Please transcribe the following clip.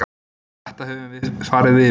Þetta höfum við farið yfir.